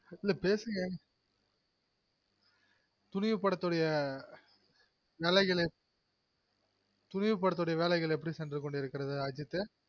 இல்ல பேசுங்க துணிவு படத்துடைய வேலைகள் எப்டி சென்றுகொண்டு இருக்கிறது அஜித்து